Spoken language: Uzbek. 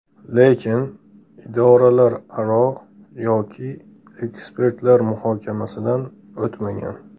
Lekin idoralararo yoki ekspertlar muhokamasidan o‘tmagan.